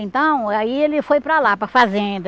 Então, aí ele foi para lá, para fazenda.